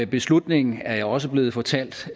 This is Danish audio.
beslutningen er jeg også blevet fortalt